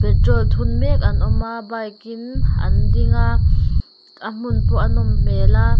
petrol thun mek an awm a bike in an ding a a hmun pawh a nawm hmel a.